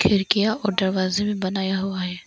खिड़कियां और दरवाजा भी बनाया हुआ है।